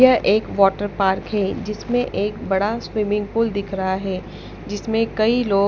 यह एक water park है जिसमें एक बड़ा स्विमिंग पूल दिख रहा है जिसमें कई लोग--